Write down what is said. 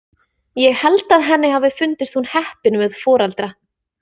Ég held að henni hafi fundist hún heppin með foreldra.